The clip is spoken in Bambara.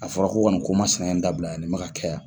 A fɔra ko ka ni ko ma sinan in dabila yan, ni bɛ ka kɛ yan